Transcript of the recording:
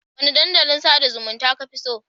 Wane dandalin sada zumunta kafi so?